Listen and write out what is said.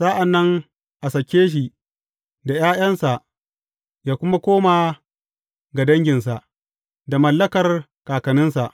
Sa’an nan a sake shi da ’ya’yansa, yă kuma koma ga danginsa da mallakar kakanninsa.